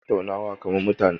Birai ba su tattaunawa kaman mutane